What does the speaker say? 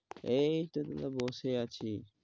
এই বসে আছি